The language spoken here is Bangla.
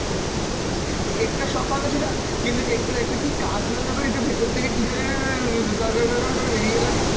cake টার সব ভালো ছিল কিন্তু cake টার একটা কী কাটল যখন একটু ভেতর থেকে কী যেন গর গর গর গর করে বেরিয়ে এলোনা?